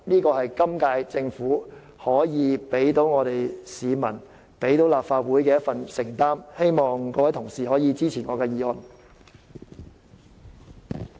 這是今屆政府可以對市民和立法會作出的承擔，希望各位同事支持我的議案。